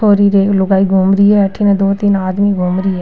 छोरी र एक लुगाई घूम रही है अठीने दो तीन आदमी घूम रही है।